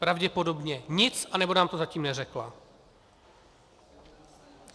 Pravděpodobně nic, anebo nám to zatím neřekla.